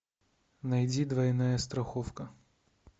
найди двойная страховка